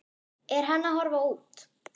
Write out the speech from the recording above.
Er hann að horfa út?